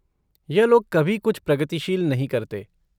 यह लोग कभी कुछ प्रगतिशील नहीं करते।